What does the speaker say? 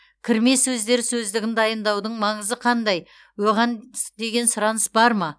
кірме сөздер сөздігін дайындаудың маңызы қандай оған деген сұраныс бар ма